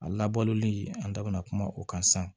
A labɔlen an da bina kuma o kan san